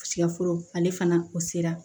Sikaforo ale fana o sera